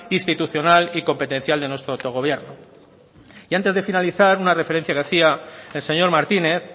institucional y competencial de nuestro autogobierno y antes de finalizar una referencia que hacia el señor martínez